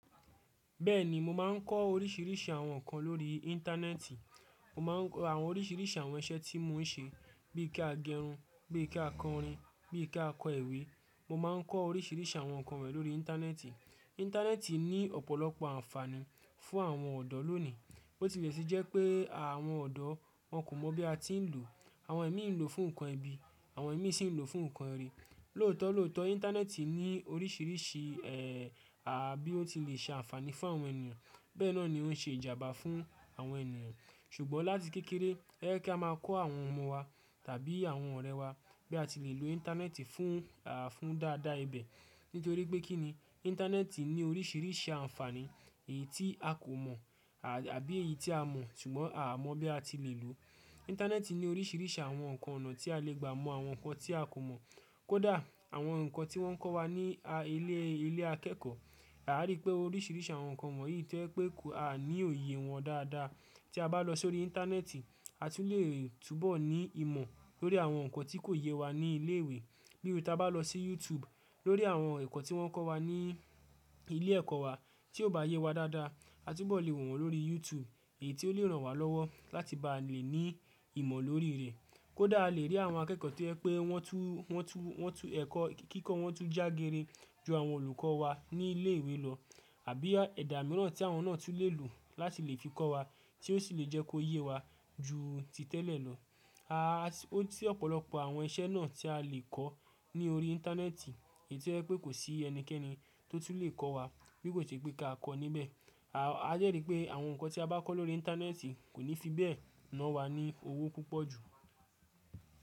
Bẹ́ẹ̀ni, mo máa ń kọ́ oríṣìíríṣìí àwọn nǹkan lórí Íńtánẹ́ẹ̀tì. Mo má ń kọ àwọn oríṣìíríṣìí àwọn iṣẹ́ tí mo ń ṣe bí i ká gẹrun, bí i ká kọ orin, bí i ká kọ ẹ̀we. Mo má ń kọ́ oríṣìíríṣìí àwọn nǹkan won yi lórí Íńtánẹ́ẹ̀tì. Íńtánẹ́ẹ̀tì ní ọ̀pọ̀lọpọ̀ ànfààní fún àwọn ọ̀dọ́ lónìí. Ó ti le ṣe jẹ́ pé àwọn ọ̀dọ́ wọn kò mọ̀ bí a ti ń lò. Àwọn imí ń lò fún nǹkan ẹbi, àwọn imí sì ń lò fún nǹkan rẹ̀. Lóòótọ́ lóòótọ́ Íńtánẹ́ẹ̀tì ní oríṣìíríṣìí, ẹ́ẹ́, àá bí ó ti le ṣe ànfààní fún àwọn ènìyàn. Bẹ́ẹ̀ náà ni ó ń ṣe ìjàmbá fún àwọn ènìyàn. Ṣùgbọ́n láti kékeré, ẹ jẹ́ kí á máa kọ́ àwọn ọmọ wa tàbí àwọn ọ̀rẹ́ wa bí a ti lè lò Íńtánẹ́ẹ̀tì fún, àá fún dáadáa ibẹ̀. Nítorí pé kín ni Íńtánẹ́ẹ̀tì ní oríṣìíríṣìí ànfààní èyí tí a kò mọ̀, àá àbí èyí tí a mọ̀ ṣùgbọ́n a kò mọ̀ bí a ti lè lò. Íńtánẹ́ẹ̀tì ní oríṣìíríṣìí àwọn nǹkan ọ̀nà tí a lè gbà mọ àwọn nǹkan tí a kò mọ̀. Kódà àwọn nǹkan tí wọ́n kọ́ wa ní a ilé ilé akẹ́kọ̀ọ́, a rí pé oríṣìíríṣìí àwọn nǹkan wọ̀nyí to jẹ pé a ní òye wọn dáadáa. Tí a bá lọ sórí Íńtánẹ́ẹ̀tì, a tún lè túbọ̀ ní ìmọ̀ lórí àwọn nǹkan tí kò yẹ wa ní ilé ìwé. Bíi tí a bá lọ sí YouTube lórí àwọn ẹ̀kọ́ tí wọ́n kọ́ wa ní ilé ẹ̀kọ́ wa tí ò bá yẹ wa dáadáa, a túbọ̀ lè wọ̀ wọ́n lórí YouTube èyí tó lè ràn wá lọ́wọ́ láti bá lè ní ìmọ̀ lórí rẹ̀. Kódà a lè rí àwọn akẹ́kọ̀ọ́ to je pé wọ́n tú wọ́n tú wọ́n tú ẹ̀kọ́ kíkọ́ wọ́n tún jágere ju àwọn olùkọ́ wa ní ilé ìwé lọ. Àbí ẹ́ẹ̀dá mìíràn tí àwọn náà tún lè lò láti lè fi kọ́ wa tí ó sì lè jẹ́ kó yé wa ju ti tẹ́lẹ̀ lọ. A a ó ti ọ̀pọ̀lọpọ̀ àwọn iṣẹ́ náà tí a lè kọ́ ní orí Íńtánẹ́ẹ̀tì èyí to je pé kò sí ẹnikẹ́ni tó tún lè kọ́ wa bí kò ṣe pé kí a kọ́ níbẹ̀. À a jẹ́ rí pé àwọn nǹkan tí a bá kọ́ lórí Íńtánẹ́ẹ̀tì kò ní fi bẹ́ẹ̀ na wa ní owó púpọ̀ jù.